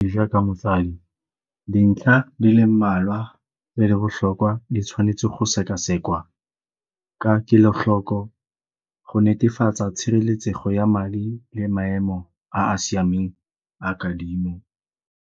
Jaaka motsadi, dintlha di le mmalwa le le botlhokwa di tshwanetse go sekasekwa ka kelotlhoko go netefatsa tshireletsego ya madi le maemo a a siameng a kadimo.